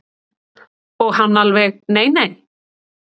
Og hann alveg nei nei.